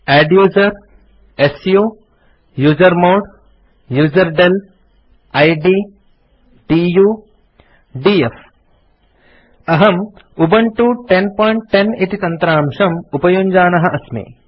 adduser su usermod userdel id du df अहम् Ubuntu 1010 इति तन्त्रांशम् उपयुञ्जानः अस्मि